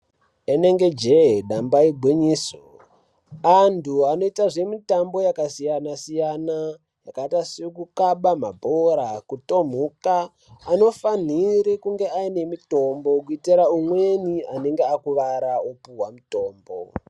Inenge jee damba igwinyiso, antu anoita zvemutambo yakasiyana-siyana yakaita sekukaba mabhora, kutomhuka anofanhiri kunge aine mutombo kuitira umweni anenge akuwara opuwa mutombo.